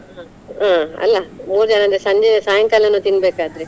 ಹಾ ಅಹ್ ಅಲ್ಲಾ ಮೂರು ಜನ ಅಂದ್ರೆ ಸಂಜೆ ಸಾಯಂಕಾಲಾನು ತಿನ್ಬೇಕಾದ್ರೆ.